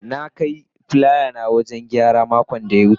na Kai filaya na wajen gyara makon da ya wuce.